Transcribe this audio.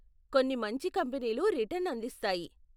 కొన్ని మంచి కంపనీలు రిటర్న్ అందిస్తాయి.